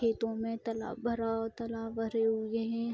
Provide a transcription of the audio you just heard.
खेतों में तालाब भरा हुआ और तालाब भरे हुए हैं।